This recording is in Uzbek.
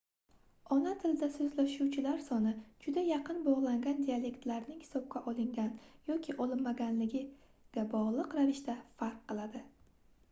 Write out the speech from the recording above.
ona tilida soʻzlashuvchilar soni juda yaqin bogʻlangan dialektlarlarning hisobga olingan yoki olinmaganiga bogʻliq ravishda farq qiladi